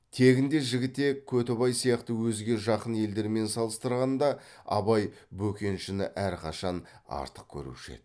тегінде жігітек көтібақ сияқты өзге жақын елдермен салыстырғанда абай бөкеншіні әрқашан артық көруші еді